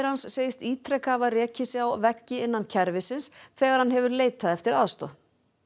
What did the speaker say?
hans segist ítrekað hafa rekið sig á veggi innan kerfisins þegar hann hefur leitað eftir aðstoð